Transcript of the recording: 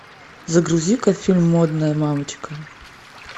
загрузи ка фильм модная мамочка